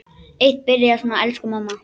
Eitt byrjaði svona: Elsku mamma!